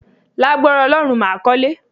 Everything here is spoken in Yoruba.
Lágbára Ọlọ́run, màá kọ́lé